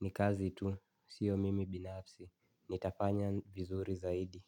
Ni kazi tu, sio mimi binafsi. Nitafanya vizuri zaidi.